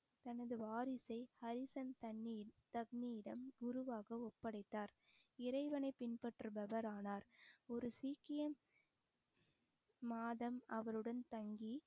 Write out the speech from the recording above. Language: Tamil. தனது வாரிசை ஹரிசன் தண்ணியில் தக்னியிடம் குருவாக ஒப்படைத்தார் இறைவனை பின்பற்றுபவர் ஆனார் ஒரு சீக்கியன் மாதம் அவருடன் தங்கி